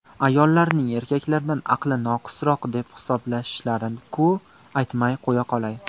Ayollarni erkaklardan aqli noqisroq deb hisoblashlarini-ku, aytmay qo‘yaqolay.